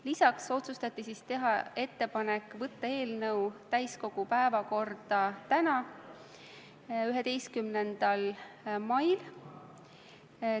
Lisaks otsustati teha ettepanek võtta eelnõu täiskogu päevakorda tänaseks, 11. maiks.